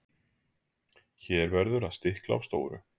Hér verður að stikla á stóru.